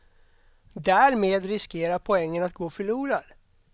Därmed riskerar poängen att gå förlorad.